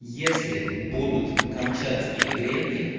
если будут камчатские гренки